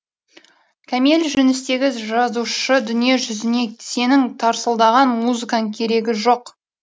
кәмел жүністегі жазушы дүниежүзіне сенің тарсылдаған музыкаң керегі жоқ